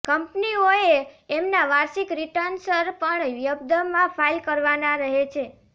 કંપનીઓએ એમનાં વાર્ષિક રિટન્સર્ પણ ય્બ્ઘ્માં ફાઇલ કરવાનાં રહે છે